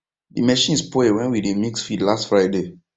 the machine spoil when we dey mix feed last friday